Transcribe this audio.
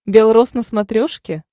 белрос на смотрешке